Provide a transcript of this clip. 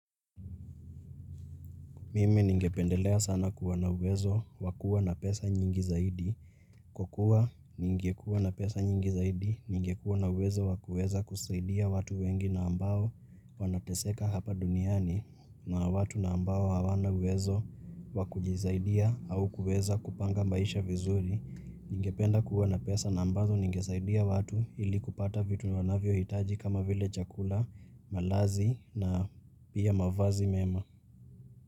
Mimi ningependelea sana kuwa na uwezo wa kuwa na pesa nyingi zaidi. Kukuwa ningekuwa na pesa nyingi zaidi ningekuwa na uwezo wa kueza kusaidia watu wengi na ambao wanateseka hapa duniani na watu na ambao hawana uwezo wakujisaidia au kuweza kupanga maisha vizuri ningependa kuwa na pesa na ambazo ningesaidia watu ili kupata vitu wanavyohitaji kama vile chakula, malazi na pia mavazi mema.